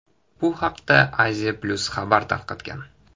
Bu haqda Asia-Plus xabar tarqatgan .